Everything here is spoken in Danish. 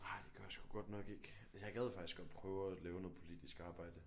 Nej det gør jeg sgu godt nok ikke men jeg gad faktisk godt prøve at lave noget politisk arbejde